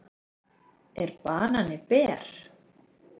Er banani ber?